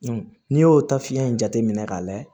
n'i y'o ta fiɲɛ in jateminɛ k'a lajɛ